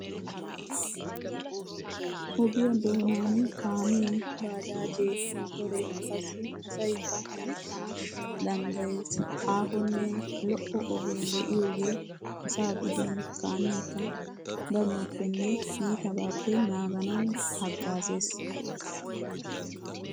Ogiya doonan kaamee, baajaajee motoree qassi asaykka hemettana danddayees. Aahonne lo"o ogee de'iyogee asaa gidin kaamiyakka danuwappenne iitabaappe naaganawu haggaazees.